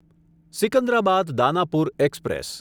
Secunderabad Danapur express